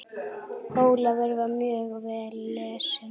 Ólafur var mjög vel lesinn.